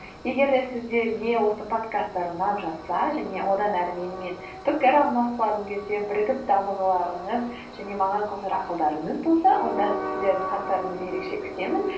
егер де сіздерге осы подкасттар ұнап жатса және одан ары менімен пікір алмасқыларың келсе бірігіп дамығыларыңыз және маған қосар ақылдарыңыз болса онда сіздердің хаттарыңызды ерекше күтемін